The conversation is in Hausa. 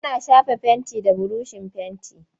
Ana shafa fenti da burushin fenti.